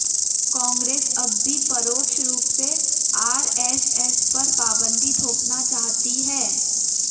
कांग्रेस अब भी परोक्ष रूप से आरएसएस पर पाबंदी थोपना चाहती है